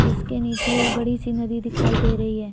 जिसके नीचे एक बड़ी सी नदी दिखाई दे रही है।